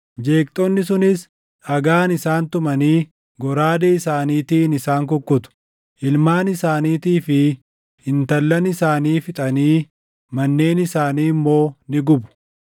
Jeeqxonni sunis dhagaan isaan tumanii goraadee isaaniitiin isaan kukkutu; ilmaan isaaniitii fi intallan isaanii fixanii manneen isaanii immoo ni gubu.